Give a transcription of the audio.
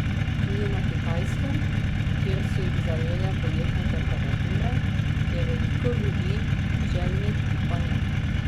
Tudi na Kitajskem, kjer so jih zajele poletne temperature, je veliko ljudi željnih kopanja.